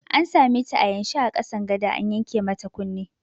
An sameta a yanshe a ƙasan gada an yanke mata kunne